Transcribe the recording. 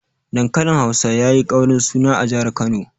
Dankalin Hausa yayi ƙaurin suna a jihar Kano.